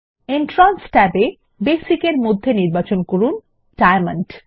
entrance ট্যাবে basic -এর মধ্যে নির্বাচন করুন ডায়মন্ড